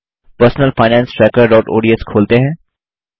personal finance trackerओडीएस खोलते हैं